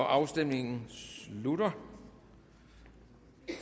afstemningen slutter